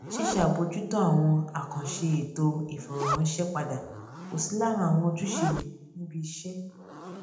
ṣíṣe àbójútó àwọn àkànṣe ètò ìfọrọ ránṣẹ padà kò sí lára àwọn ojúṣe mi ní ibi iṣẹ